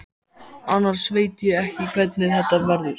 Annars veit ég ekki hvernig þetta verður.